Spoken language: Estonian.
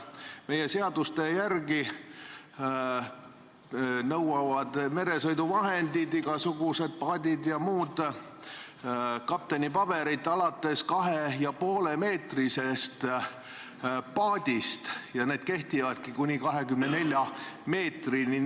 Meie seaduste järgi nõuavad meresõiduvahendid, igasugused paadid ja muud, kaptenipabereid alates 2,5-meetrisest paadist ja need kehtivadki kuni 24 meetri pikkuse sõiduvahendi korral.